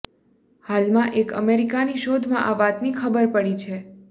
હાલમાં એક અમેરિકાની શોધમાં આ વાતની ખબર પડી છે